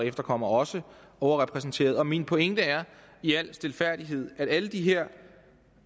efterkommere også overrepræsenteret min pointe er i al stilfærdighed at alle de her